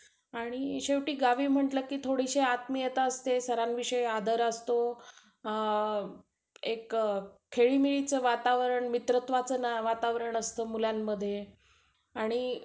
आणि शेवटी गावी म्हटलं कि थोडीशी आत्मीयता असते. सरांविषयी आदर असतो. एक खेळीमेळीचं वातावरण मित्रत्वाचं वातावरण असतं मुलांमध्ये. आणि